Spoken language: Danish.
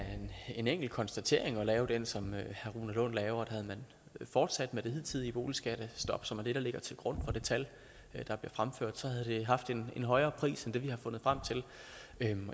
en enkelt konstatering at lave den som herre rune lund laver havde man fortsat med det hidtidige boligskattestop som er det der ligger til grund det tal der bliver fremført så havde det haft en højere pris end det vi har fundet frem til